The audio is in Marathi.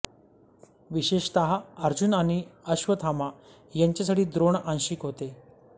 विशेषतः अर्जुन आणि अश्वत्थामा यांच्यासाठी द्रोण आंशिक होते